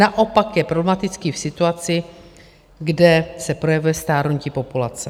Naopak je problematický v situaci, kde se projevuje stárnutí populace.